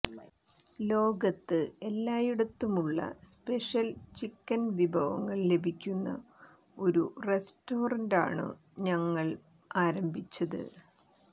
ലോകത്ത് എല്ലായിടത്തുമുള്ള special chicken വിഭവങ്ങൾ ലഭിക്കുന്ന ഒരു റസ്റ്ററന്റാണു ഞങ്ങൾ ആരംഭിച്ചത്